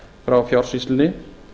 frá fjársýslunni